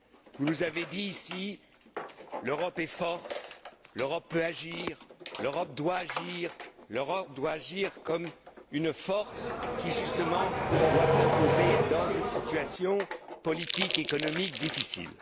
Vous nous avez dit, ici l'Europe est forte, l'Europe peut agir, l'Europe doit agir, l'Europe doit agir comme une force qui, justement, doit s'imposer dans une situation politique économique difficile.